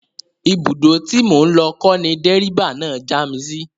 Ibùdó tí mò ń lọ kọ́ ni dẹ́ríbà náà já mi sí